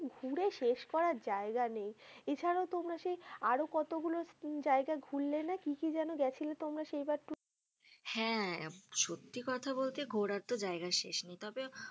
ঘুরে শেষ করার জায়গা নেই এছাড়াও তোমরা সেই আরো কতগুলো জায়গা ঘুরলে না কি কি জেনো গেছিলে তোমরা সেই বার tour এ হ্যা সত্যি কথা বলতে ঘোরার তো জায়গার শেষ নেই তবে,